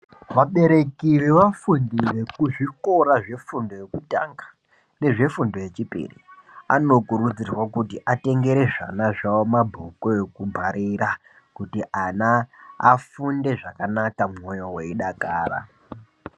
Vabereki vevafundi vekuzvikora zvefundo yekutanga ndezvefundo yezvipiri anokurudzirwa kuti atengere zvana zvao mabhuku eku bharira kuti ana afunde zvakanaka mwoyo weidakara.